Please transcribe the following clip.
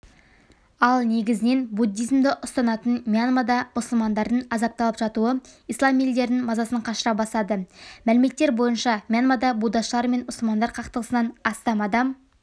ал негізіненбуддизмді ұстанатын мьянмада мұсылмандардың азапталып жатуы ислам елдерін мазасын қашыра бастады мәліметтер бойынша мьянмада буддашылар мен мұсылмандар қақтығысынан астам адам